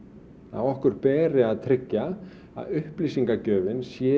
að okkur beri að tryggja að upplýsingagjöfin sé